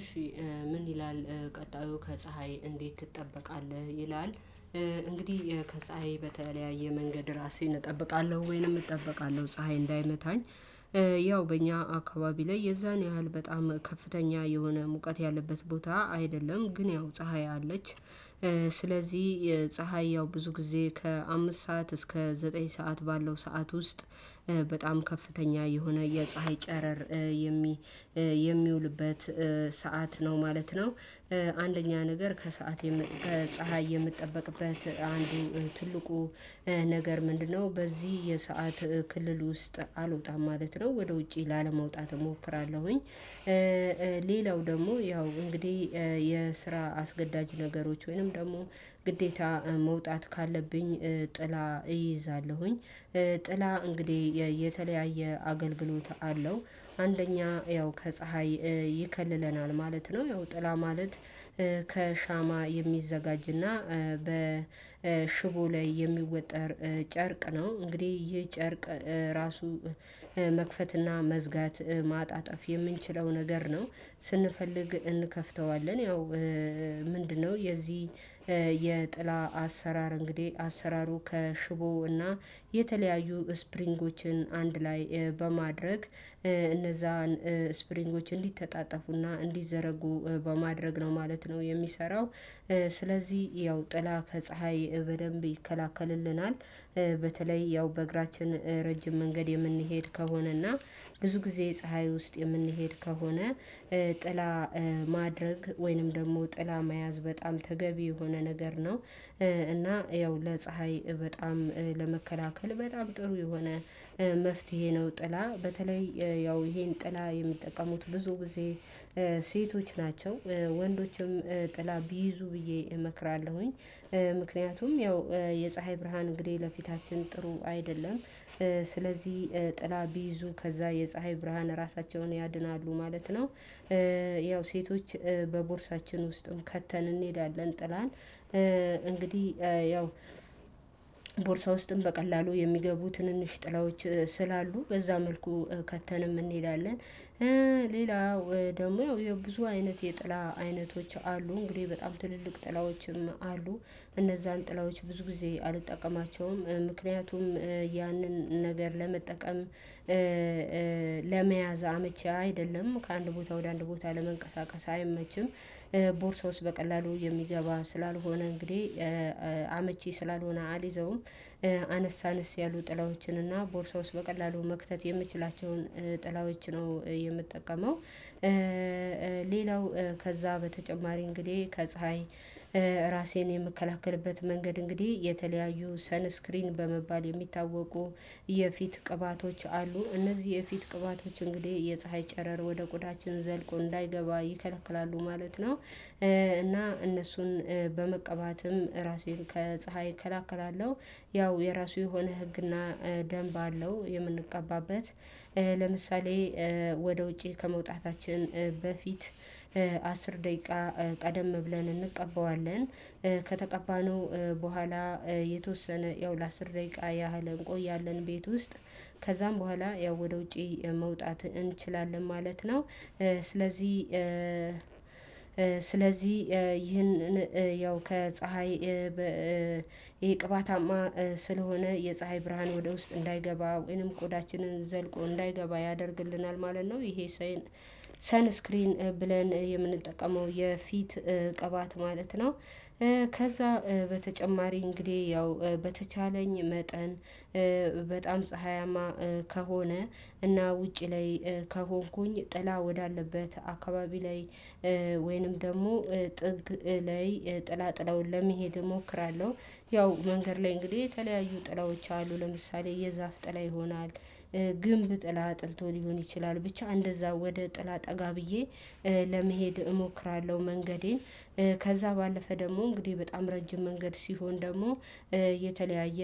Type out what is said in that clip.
እሺ ምን ይላል ቀጣዩ ከፀሀይ እንዴት ትጠበቃለህ ይላል? እንግዲህ ከፀሀይ በተለያየ መንገድ ራሴን እጠብቃለሁ ወይንም እጠበቃለሁ ፀሀይ እንዳይመታኝ። ያው በእኛ አካባቢ ላይ የዛን ያህል በጣም ከፍተኛ የሆነ ሙቀት ያለበት ቦታ አይደለም ግን ያው ፀሀይ አለች። ስለዚህ የፀሀይ ያው ብዙ ጊዜ ከአምስት ሰዓት እስከ ዘጠኝ ሰዓት ባለው ሰዓት ውስጥ በጣም ከፍተኛ የሆነ የፀሀይ ጨረር የሚ የሚውልበት ሰዓት ነው ማለት ነው። አንደኛ ነገር ከሰአት ከፀሀይ የምትጠበቅበት አንዱ ትልቁ ነገር ምንድነው? በዚህ የሰዓት ክልል ውስጥ አልወጣም ማለት ነው ወደ ውጪ ላለመውጣት እሞክራለሁኝ። ሌላው ደግሞ ያው እንግዲህ የስራ አስገዳጅ ነገሮች ወይንም ደግሞ ግዴታ መውጣት ካለብኝ ጥላ እይዛለሁኝ። ጥላ እንግዲህ የተለያየ አገልግሎት አለው አንደኛ ያው ከፀሀይ ይከልለናል ማለት ነው። ያው ጥላ ማለት ከሻማ የሚዘጋጅና በሽቦ ላይ የሚወጠር ጨርቅ ነው። እንግዲህ ይህ ጨርቅ ራሱ መክፈትና መዝጋት ማጣጠፍ የምንችለው ነገር ነው። ስንፈልግ እንከፍተዋለን። ያው ምንድነው? የዚህ የጥላ አሰራር እንግዲህ አሰራሩ ከሽቦው እና የተለያዩ ስፕሪንጎችን አንድ ላይ በማድረግ እነዛን ስፕሪንጎች እንዲተጣጠፉና እንዲዘረጉ በማድረግ ነው ማለት ነው የሚሰራው። ስለዚህ ያው ጥላ ከፀሀይ በደንብ ይከላክልልናል። በተለይ ያው በእግራችን ረጅም መንገድ የምንሄድ ከሆነና ብዙ ጊዜ ፀሀይ ውስጥ የምንሄድ ከሆነ ጥላ ማድረግ ወይንም ደግሞ ጥላ መያዝ በጣም ተገቢ የሆነ ነገር ነው። እና ያው ለፀሀይ በጣም ለመከላከል በጣም ጥሩ የሆነ መፍትሄ ነው። ጥላ በተለይ ያው ይሄን ጥላ የሚጠቀሙት ብዙ ጊዜ ሴቶች ናቸው። ወንዶችም ጥላ ቢይዙ ብዬ እመክራለሁኝ። ምክንያቱም ያው የፀሀይ ብርሃን እንግዲህ ለፊታችን ጥሩ አይደለም። ስለዚህ ጥላ ቢይዙ ከዛ የፀሀይ ብርሃን ራሳቸውን ያድናሉ ማለት ነው። ያው ሴቶች በቦርሳችን ውስጥም ከተን እንሄዳለን ጥላን እንግዲህ ያው ቦርሳ ውስጥም በቀላሉ የሚገቡ ትንንሽ ጥላዎች ስላሉ በዛ መልኩ ከተንም እንሄዳለን። ሌላው ደግሞ ያው ያው ብዙ አይነት የጥላ አይነቶች አሉ እንግዲህ በጣም ትልልቅ ጥላዎችም አሉ። እነዛን ጥላዎች ብዙ ጊዜ አልጠቀማቸውም ምክንያቱም ያንን ነገር ለመጠቀም ለመያዝ አመቺ አይደለም ከአንድ ቦታ ወደ አንድ ቦታ ለመንቀሳቀስ አይመችም። ቦርሳውስ በቀላሉ የሚገባ ስላልሆነ እንግዲህ አመቺ ስላልሆነ አልይዘውም። አነስ አነስ ያሉ ጥላዎችን እና ቦርሳ ውስጥ በቀላሉ መክተት የምችላቸውን ጥላዎች ነው የምትጠቀመው። ሌላው ከዛ በተጨማሪ እንግዲህ ከፀሀይ ራሴን የምከላከልበት መንገድ እንግዲህ የተለያዩ ሰን ስክሪን በመባል የሚታወቁ የፊት ቅባቶች አሉ እነዚህ የፊት ቅባቶች እንግዲህ የፀሀይ ጨረር ወደ ቆዳችን ዘልቆ እንዳይገባ ይከለክላሉ ማለት ነው። እና እነሱን በመቀባትም ራሴን ከፀሀይ እከላከላለሁ። ያው የራሱ የሆነ ህግና ደንብ አለው የምንቀባበት። ለምሳሌ ወደ ውጪ ከመውጣታችን በፊት አስር ደቂቃ ቀደም ብለን እንቀበዋለን። ከተቀባነው በኋላ የተወሰነ ያው ለአስር ደቂቃ ያህል እንቆያለን ቤት ውስጥ ከዛም በኋላ ያው ወደ ውጪ መውጣት እንችላለን ማለት ነው። ስለዚህ ስለዚህ ይህንን ያው ከፀሀይ ይህ ቅባታማ ስለሆነ የፀሀይ ብርሃን ወደ ውስጥ እንዳይገባ ወይንም ቆዳችንን ዘልቆ እንዳይገባ ያደርግልናል ማለት ነው። ይሄ ሰን ስክሪን ብለን የምንጠቀመው የፊት ቅባት ማለት ነው። ከዛ በተጨማሪ እንግዲህ ያው በተቻለኝ መጠን በጣም ፀሀያማ ከሆነ እና ውጪ ላይ ከሆንኩኝ ጥላ ወዳለበት አካባቢ ላይ ወይንም ደግሞ ጥግ ላይ ጥላ ጥላውን ለመሄድ እሞክራለሁ። ያው መንገድ ላይ እንግዲህ የተለያዩ ጥላዎች አሉ ለምሳሌ የዛፍ ጥላ ይሆናል። ግንብ ጥላ ጥልቶ ሊሆን ይችላል ብቻ እንደዛ ወደ ጥላ ጠጋ ብዬ ለመሄድ እሞክራለሁ መንገዴን። ከዛ ባለፈ ደግሞ እንግዲህ በጣም ረጅም መንገድ ሲሆን ደግሞ የተለያየ